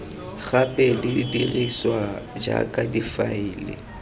gape di dirisiwa jaaka difaele